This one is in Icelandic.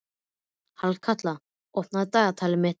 Hallkatla, opnaðu dagatalið mitt.